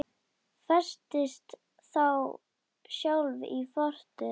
Festist þá sjálf í fortíð.